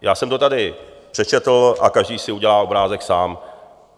Já jsem to tady přečetl a každý si udělá obrázek sám.